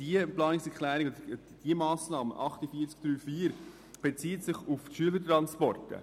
Diese bezieht sich indirekt auf die Schülertransporte.